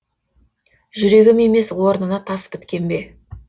жүрегім емес орнына тас біткен бе